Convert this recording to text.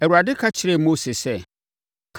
Awurade ka kyerɛɛ Mose sɛ,